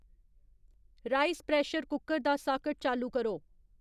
rice pressure cooker दा socket चालू करो